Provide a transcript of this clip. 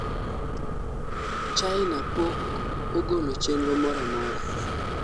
China pok ogolo chenro mora amora